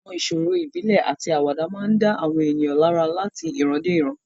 Àwọn ìṣòro ìbílẹ̀ àti àwàdà máa ń dá àwọn ènìyàn lára láti ìran dé ìran.